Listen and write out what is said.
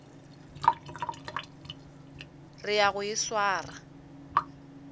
re ya go e swara